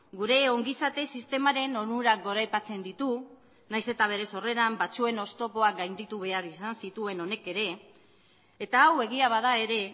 gure ongizate sistemaren onurak goraipatzen ditu nahiz eta bere sorreran batzuen oztopoak gainditu behar izan zituen honek ere eta hau egia bada ere